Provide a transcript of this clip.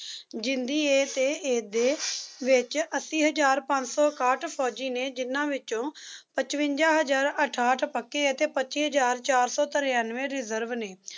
ਜਿੰਦੀ ਏ ਤੇ ਇਸਦੇ ਵਿੱਚ ਅੱਸੀ ਹਜ਼ਾਰ ਪੰਜ ਸੌ ਇਕਾਹਠ ਫੌਜੀ ਨੇ ਜਿੰਨਾ ਵਿੱਚੋਂ ਪਚਵੰਜਾ ਹਜ਼ਾਰ ਅਠਾਹਠ ਪੱਕੇ ਅਤੇ ਪੱਚੀ ਹਜ਼ਾਰ ਚਾਰ ਸੌ ਤਰਾਨਵੇਂ reserve ਨੇ